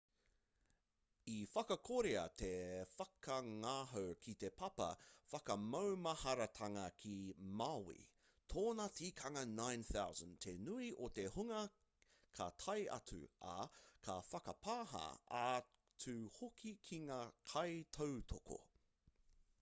i whakakorea te whakangahau ki te papa whakamaumaharatanga ki maui tōna tikanga 9,000 te nui o te hunga ka tae atu ā ka whakapāha atu hoki ki ngā kaitautoko